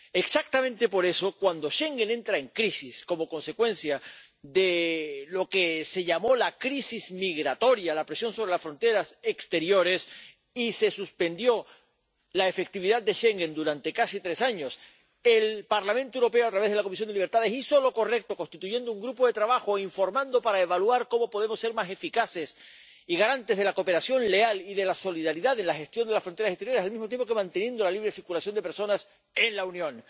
Exactamente por eso, cuando Schengen entra en crisis, como consecuencia de lo que se llamó la crisis migratoria, la presión sobre las fronteras exteriores, y se suspendió la efectividad de Schengen durante casi tres años, el Parlamento Europeo, a través de la Comisión de Libertades Civiles, hizo lo correcto constituyendo un grupo de trabajo, informando para evaluar cómo podemos ser más eficaces y garantes de la cooperación leal y de la solidaridad de la gestión de las fronteras exteriores, manteniendo al mismo tiempo la libre circulación de personas en la Unión.